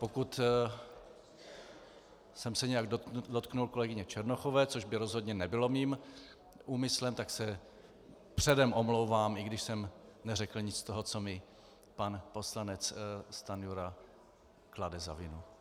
Pokud jsem se nějak dotkl kolegyně Černochové, což by rozhodně nebylo mým úmyslem, tak se předem omlouvám, i když jsem neřekl nic z toho, co mi pan poslanec Stanjura klade za vinu.